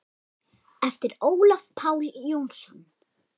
eftir Ólaf Pál Jónsson